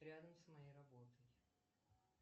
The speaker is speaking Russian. рядом с моей работой